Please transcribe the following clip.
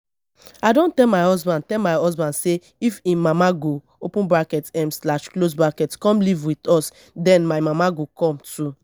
i don tell my husband tell my husband say if im mama go open bracket um slash close bracket come live with us den my mama go come too